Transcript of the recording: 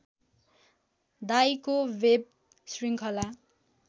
डाइको web श्रृङ्खला